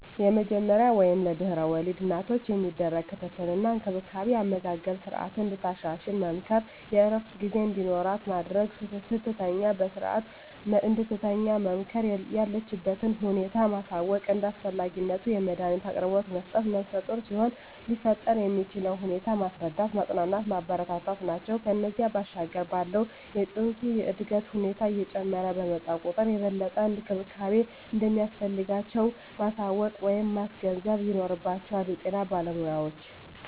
የመጀመሪያ ወይም ለድሕረ ወሊድ እናቶች የሚደረግ ክትትል እና እንክብካቤ የአመጋገብ ስረዓትን እንድታሻሽል መምከር፣ የእረፍት ጊዜ እንዲኖራት ማድረግ፣ ስትተኛ በስረዓት እንድትተኛ መምከር፣ የለችበትን ሁኔታ ማሳወቅ፣ እንደ አስፈላጊነቱ የመዳኒት አቅርቦት መስጠት፣ ነፍሰጡር ሲሆኑ ሊፈጠር የሚችለውን ሁኔታ ማስረዳት፣ ማፅናናት፣ ማበረታታት ናቸው። ከዚያ ባሻገር ባለው የፅንሱ የእድገት ሁኔታ እየጨመረ በመጣ ቁጥር የበለጠ እንክብካቤ እንደሚያስፈልጋቸው ማሳወቅ ወይም ማስገንዘብ ይኖርባቸዋል የጤና ባለሞያዎች።